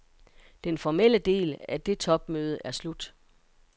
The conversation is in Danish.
Den formelle del af det topmødet er slut.